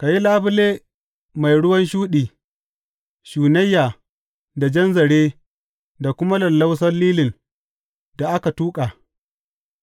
Ka yi labule mai ruwan shuɗi, shunayya da jan zare da kuma lallausan lilin da aka tuƙa,